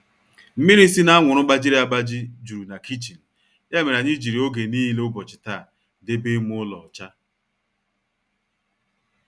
Mmịrị sị na anwụrụ gbajịrị agbajị juru na kichin ya mere anyị jiri oge nile ubochi taa debe ime ụlọ ọcha